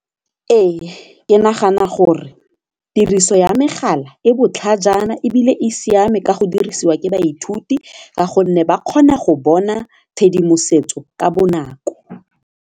Ee ke nagana gore tiriso ya megala e botlhajana ebile e siame ka go dirisiwa ke baithuti ka gonne ba kgona go bona tshedimosetso ka bonako.